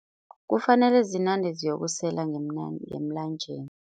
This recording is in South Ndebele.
Kufanele zinande ziyokusela ngemlanjeni.